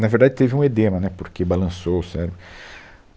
Na verdade, teve um edema, né, porque balançou o cérebro.